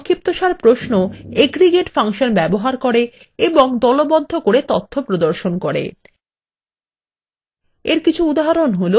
সংক্ষিপ্তসার প্রশ্ন aggregate function ব্যবহার করে এবং দলবদ্ধ করে তথ্য প্রদর্শন করে